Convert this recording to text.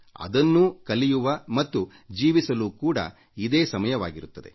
ಅದನ್ನೂ ಕಲಿಯುವ ಮತ್ತು ಜೀವಿಸಲು ಕೂಡಾ ಇದೇ ಸಮಯವಾಗಿರುತ್ತದೆ